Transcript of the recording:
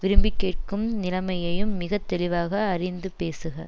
விரும்பிக் கேட்கும் நிலைமையையும் மிக தெளிவாக அறிந்து பேசுக